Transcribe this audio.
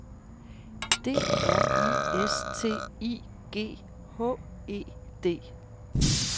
D R I S T I G H E D